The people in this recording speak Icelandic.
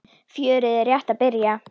Fjörið er rétt að byrja!